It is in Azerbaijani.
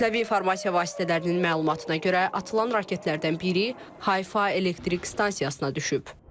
Kütləvi informasiya vasitələrinin məlumatına görə atılan raketlərdən biri Hayfa elektrik stansiyasına düşüb.